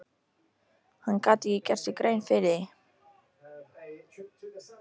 Hann gat ekki gert sér grein fyrir því.